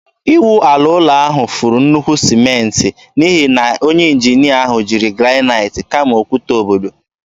Ịwụ ala ụlọ ahụ furu nnukwu sịmentị n'ihi na onye injinia ahụ jiri granaịt kama okwute obodo.